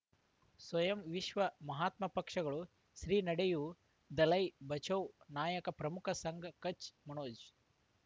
ಸ್ವಯಂ ವಿಶ್ವ ಮಹಾತ್ಮ ಪಕ್ಷಗಳು ಶ್ರೀ ನಡೆಯೂ ದಲೈ ಬಚೌ ನಾಯಕ ಪ್ರಮುಖ ಸಂಘ ಕಚ್ ಮನೋಜ್